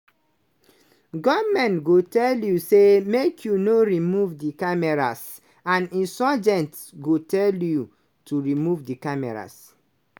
"goment go tell you say make you no remove di cameras and insurgents go tell you to remove di cameras.